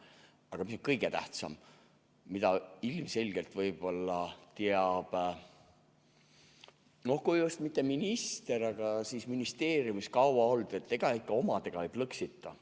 Aga mis kõige tähtsam, mida ilmselgelt teavad, no kui just mitte minister, siis need, kes ministeeriumis kaua olnud, et omadega ei plõksita.